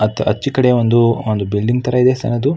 ಅತ್ ಆಚಿ ಕಡೆ ಒಂದು ಬಿಲ್ಡಿಂಗ್ ತರ ಇದೆ ಸಾರು ಅದು.